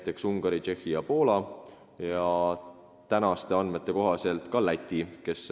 Sellised riigid on Ungari, Tšehhi ja Poola ning tänaste andmete kohaselt ka Läti.